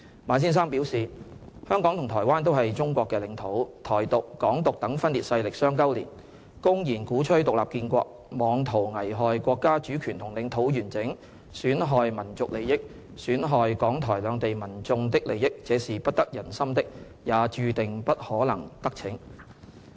馬先生表示，"香港和台灣都是中國的領土。'台獨'、'港獨'等分裂勢力相勾連，公然鼓吹'獨立建國'，妄圖危害國家主權和領土完整，損害民族利益，損害港台兩地民眾的利益，這是不得人心的，也注定不可能得逞"。